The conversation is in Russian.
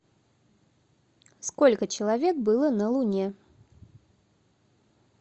сколько человек было на луне